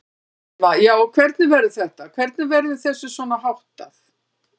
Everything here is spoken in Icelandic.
Telma: Já, og hvernig verður þetta, hvernig verður þessu svona háttað?